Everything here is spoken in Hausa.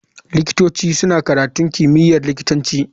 Likitoci suna karatun kimiyyar likitanci.